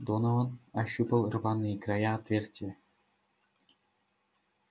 донован ощупал рваные края отверстия